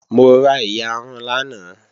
Mo ra iyarun lánàá